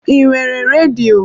I nwere redio?